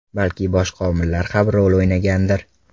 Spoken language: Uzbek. Balki boshqa omillar ham rol o‘ynagandir.